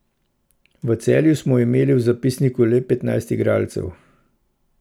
V Celju smo imeli v zapisniku le petnajst igralcev.